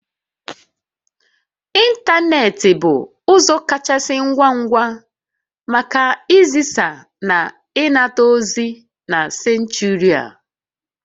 Ịntanetị bụ ụzọ kachasị ngwa ngwa maka izisa na ịnata ozi na senchuri a